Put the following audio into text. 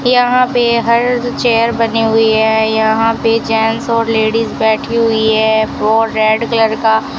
यहां पे हर चेयर बनी हुए है यहां पे जेंट्स और लेडिस बैठी हुई है और रेड कलर का --